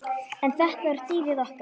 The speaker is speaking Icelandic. En þetta var dýrið okkar.